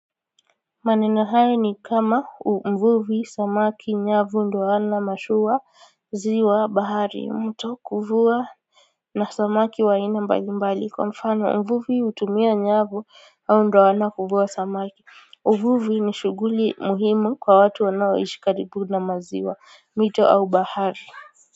Maneno hayo ni kama mvuvi, samaki, nyavu ndoano, mashua, ziwa, bahari, mto kuvuwa na samaki wa aina mbali mbali kwa mfano mvuvi hutumia nyavu au ndoano kuvuwa samaki. Uvuvi ni shughuli muhimu kwa watu wanawaishi karibu na maziwa, mito au bahari.